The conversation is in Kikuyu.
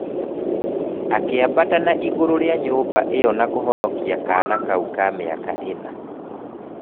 Akĩambata na igũrũ rĩa nyumba ĩyo na kũhonokia kaana kau ka mĩaka ĩna.